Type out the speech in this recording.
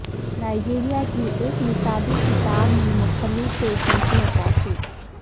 Nigeria کی ایک نصابی کتاب میں مختلف پیشوں کی عکاسی